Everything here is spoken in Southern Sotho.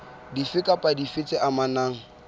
dife kapa dife tse amanang